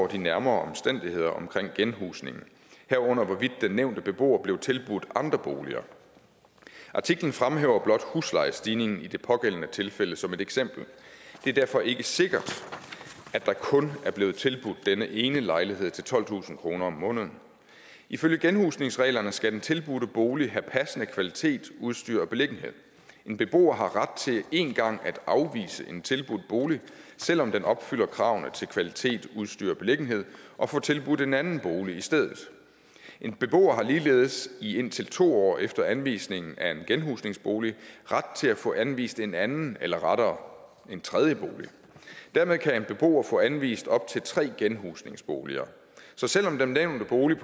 de nærmere omstændigheder omkring genhusningen herunder hvorvidt den nævnte beboer blev tilbudt andre boliger artiklen fremhæver blot huslejestigningen i det pågældende tilfælde som et eksempel det er derfor ikke sikkert at der kun er blevet tilbudt denne ene lejlighed til tolvtusind kroner om måneden ifølge genhusningsreglerne skal den tilbudte bolig have passende kvalitet udstyr og beliggenhed en beboer har ret til én gang at afvise en tilbudt bolig selv om den opfylder kravene til kvalitet udstyr og beliggenhed og få tilbudt en anden bolig i stedet en beboer har ligeledes i indtil to år efter anvisningen af en genhusningsbolig ret til at få anvist en anden eller rettere en tredje bolig dermed kan en beboer få anvist op til tre genhusningsboliger så selv om den nævnte bolig